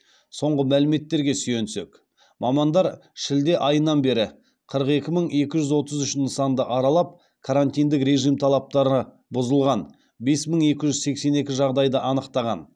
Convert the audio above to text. соңғы мәліметтерге сүйенсек мамандар шілде айынан бері қырық екі мың екі жүз отыз үш нысанды аралап карантиндік режим талаптары бұзылған бес мың екі жүз сексен екі жағдайды анықтаған